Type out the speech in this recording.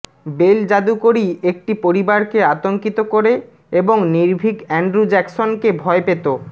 bell জাদুকরী একটি পরিবারকে আতঙ্কিত করে এবং নির্ভীক অ্যান্ড্রু জ্যাকসনকে ভয় পেত